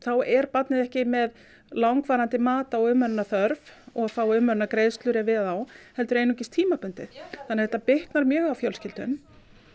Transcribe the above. er barnið ekki með langvarandi mat á umönnunarþörf og þá umönnunargreiðslur ef við á heldur einungis tímabundið þannig að þetta bitnar mjög á fjölskyldum